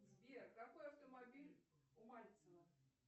сбер какой автомобиль у мальцева